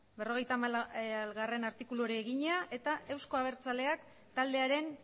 berrogeita hamargarrena artikuluari egina eta euzko abertzaleak taldearen